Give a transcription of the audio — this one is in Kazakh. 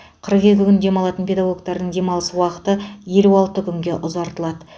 қырық екі күн демалатын педагогтердің демалыс уақыты елу алты күнге ұзартылады